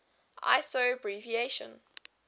iso abbreviation